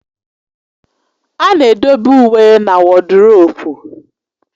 A na-edobe uwe na woduropu